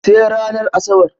Sai ranar Asabar.